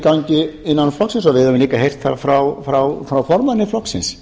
gangi innan flokksins og við höfum líka heyrt það frá formanni flokksins